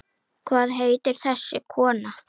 Hvað heitir þessi kona?